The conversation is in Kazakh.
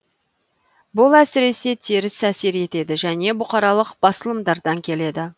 бұл әсіресе теріс әсер етеді және бұқаралық басылымдардан келеді